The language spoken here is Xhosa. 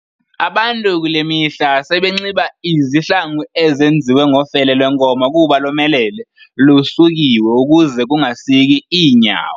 abantu kule mihla sebenxiba izihlangu ezenziwe ngofele lwenkomo kuba lomelele, lusukiwe ukuze kungasiki iinyawo.